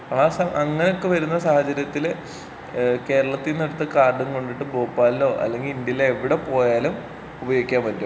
ആഹ് അങ്ങനെ ഒക്കെ വരുന്ന സാഹചര്യത്തില് ഏഹ് കേരളത്തീന്ന് എടുത്ത കാർഡും കൊണ്ടിട്ട് ഭോപ്പാലിലോ അല്ലെങ്കി ഇന്ത്യയിലെവിടെ പോയാലും ഉപയോഗിക്കാൻ പറ്റും.